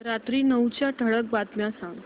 रात्री नऊच्या ठळक बातम्या सांग